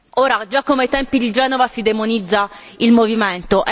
Ora come già ai tempi di Genova si demonizza il movimento